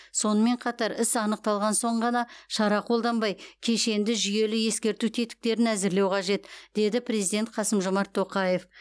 сонымен қатар іс анықталған соң ғана шара қолданбай кешенді жүйелі ескерту тетіктерін әзірлеу қажет деді президент қасым жомарт тоқаев